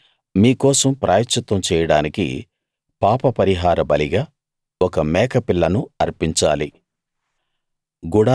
అలాగే మీ కోసం ప్రాయశ్చిత్తం చేయడానికి పాపపరిహార బలిగా ఒక మేకపిల్లను అర్పించాలి